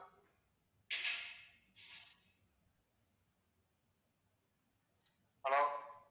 hello